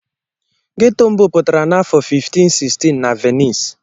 Geto mbụ pụtara n'afọ 1516 na Venice.